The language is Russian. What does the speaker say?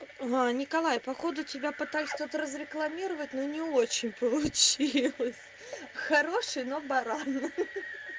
о николай походу тебя пытались тут разрекламировать но не очень получилось хороший но баран